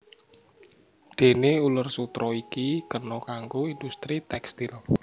Déné uler sutera iki kena kanggo industri tékstil